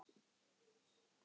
Þetta er bara mjög sniðugt